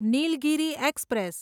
Nilgiri express